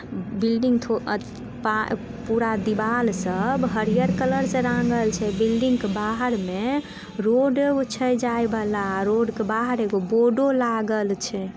Building थो आ पा पूरा देवाल सब हरिहर कलर से रांगल छै बिल्डिंग के बाहर में रोडो छै जाए वाला रोड के बाहर एगो बोर्डो लागल छै।